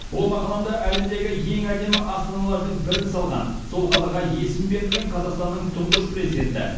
ол мақаламда әлемдегі ең әдемі астаналардың бірін салған сол қалаға есімі берілген қазақстанның тұңғыш президенті